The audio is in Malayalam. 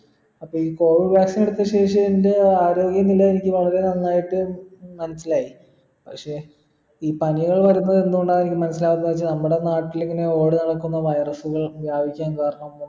അപ്പൊ ഈ covid vaccine എടുത്ത ശേഷം എൻ്റെ ആരോഗ്യ നില എനിക്ക് വളരെ നന്നായിട്ട് മനസ്സിലായി പക്ഷെ ഈ പനികൾ വരുന്നെ എന്തു കൊണ്ടാണ് എനിക്ക് മനസ്സിലാവത്തെ വെച്ച നമ്മുടെ നാട്ടിലിങ്ങന ഓടി നടക്കുന്ന virus ലെ വ്യാപിചെം കാരണം